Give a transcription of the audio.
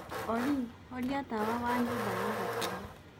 olly horĩa tawa wa nyũmba ya gũkoma